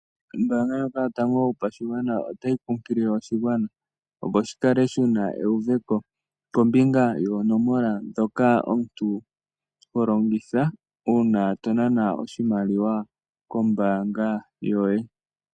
Ombaanga ndjoka yotango yopashigwana otayi kunkilile oshigwana opo shikale shi na euveko kombinga yonoomola ndhoka omuntu ha longitha uuna to nana oshimaliwa kombaanga yoye.